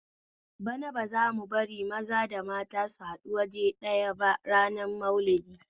Bana ba zamu bari maza da mata su haɗu awaje ɗaya ba ranar Maulidi